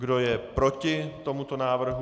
Kdo je proti tomuto návrhu?